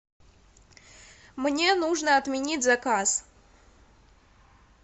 мне нужно отменить заказ